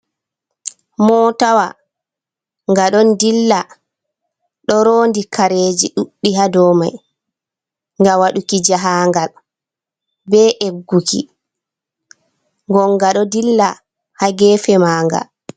Motawa, nga ɗon dilla, ɗo rondi kareji ɗuɗɗi ha domai ngam waɗuki jahangal be egguki, gon nga ɗo dilla ha gefe manga.